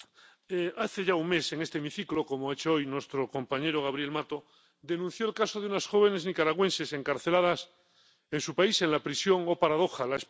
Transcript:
Señor presidente, hace ya un mes en este hemiciclo, como ha hecho hoy nuestro compañero Gabriel Mato, se denunció el caso de unas jóvenes nicaragüenses encarceladas en su país, en la prisión —¡oh, paradoja!—